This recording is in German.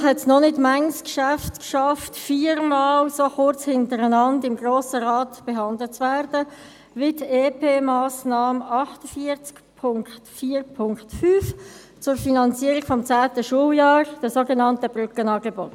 Wahrscheinlich haben es noch nicht viele Geschäfte geschafft, viermal so kurz hintereinander im Grossen Rat behandelt zu werden wie die Entlastungspaket-Massnahme (EP-Massnahme) 48.4.5 zur Finanzierung des 10. Schuljahres, der sogenannten Brückenangebote.